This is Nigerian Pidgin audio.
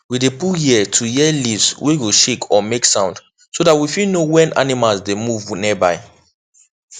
we dey put ear to hear leaves wey go shake or make sound so that we fit know when animals dey move nearby